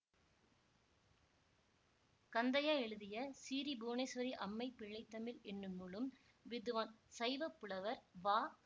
கந்தையா எழுதிய சீறீ புவனேஸ்வரி அம்மை பிள்ளைத்தமிழ் என்னும் நூலும் வித்துவான் சைவப்புலவர் வ